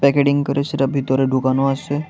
করে সেটা ভিতরে ঢুকানো আছে।